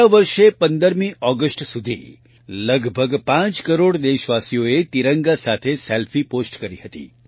ગયા વર્ષે 15 ઓગસ્ટ સુધી લગભગ 5 કરોડ દેશવાસીઓએ તિરંગા સાથે સેલ્ફી પોસ્ટ કરી હતી